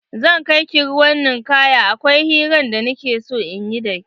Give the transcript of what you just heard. Zan kaiki ruwan ninkaya akwai hiran da nike so in yi dake.